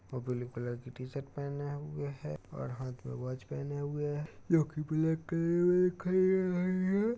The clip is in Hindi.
ब्लू कलर की टीशर्ट पहने हुए है और हाथ में वाच पहने हुए हैजोकि ब्लैक कलर में --